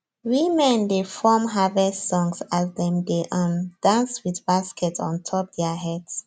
women dey form harvest songs as dem dey um dance with baskets ontop their heads